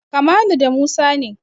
Kamalu da Musa ne.